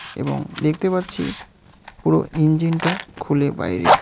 এবং দেখতে পারছি পুরো ইঞ্জিনটা খুলে বাইরে.